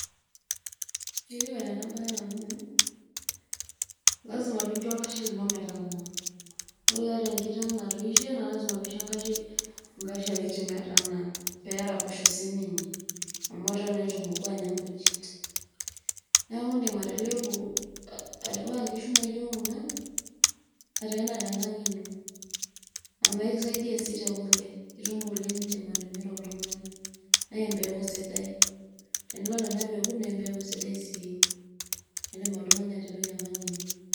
Enetipat ena baye amu, lazima piinjo olashe lino metanaa. Ore iata inkiteng' natoishe naa lazima pisho enkashe kiti metanaa pee eraposho sininye amu eton naa itu emoku anya inkujit. Neeku indim atipika nkishu naijo kuna ateena tenkang' ino amu kisaidia sii te kule, itum kule niindim atimira oltung'ani naa empeku sidai. Tenidol ena peku naa embeku sidai sii naidim oltung'ani atipika enkang' enye.